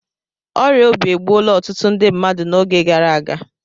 Ọrịa obi egbuola ọtụtụ ndị mmadụ n'oge gara aga